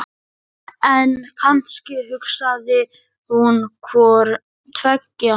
En kannski hugsaði hún hvort tveggja.